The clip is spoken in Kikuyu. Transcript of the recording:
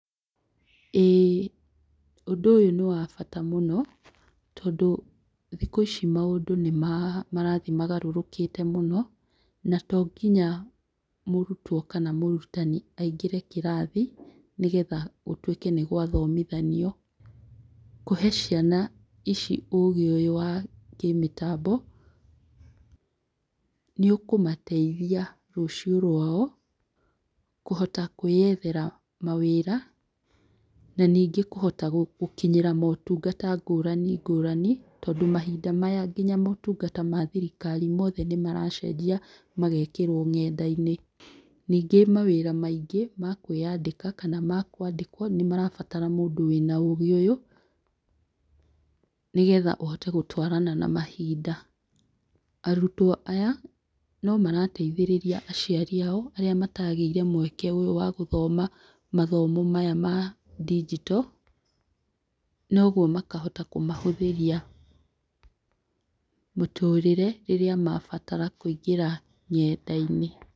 Ĩĩ ũndũ ũyũ nĩ wabata mũno, tondũ thikũ ici maũndũ marathiĩ magarũrũkĩte mũno, na tonginya mũrutwo kana mũrutani aingĩre kĩrathi nĩgetha gũtuĩke nĩ gwathomithanio, kũhe ciana ici ũgĩ ũyũ wa kĩmĩtambo nĩ ũkũmateithia rũciũ rwao kũhota kwĩyethera mawĩra, na ningĩ kũhota gũkinyĩra motungata ngũrani ngũrani, tondũ mahinda maya nginya motungata ma thirikari mothe nĩ maracenjia magekĩrwo ng'enda-inĩ, ningĩ mawĩra maingĩ ma kwĩyandĩka kana makwandĩkwo nĩ marabatara mũndũ wĩna ũgĩ ũyũ, nĩgetha ũhote gũtwarana na mahinda, arutwo aya no marateithĩrĩria aciari ao arĩa matageire mweke wa gũthoma mathomo maya ma digital, noguo makahota kũmahũthĩria mũtũrĩre rĩrĩa mabatara kũingĩra ng'enda-inĩ.